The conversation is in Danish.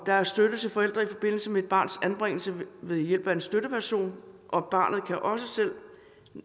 der er støtte til forældre i forbindelse med et barns anbringelse ved hjælp af en støtteperson og barnet kan også selv